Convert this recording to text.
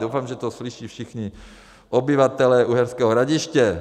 Doufám, že to slyší všichni obyvatelé Uherského Hradiště.